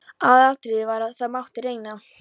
Aðalatriðið var að það mátti reyna.